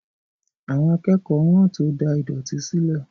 Àwọn akẹ́kọ̀ọ́ wọ́n tó da ìdọ̀tí sílẹ̀